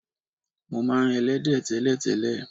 Mo máa ń e̩lé̩dé̩ té̩lè̩té̩lè̩.